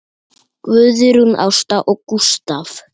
Guðrún Ásta og Gústav.